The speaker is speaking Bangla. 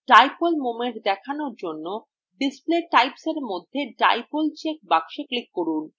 dipole moment দেখানোর জন্য display typesএর মধ্যে dipole check box click করুন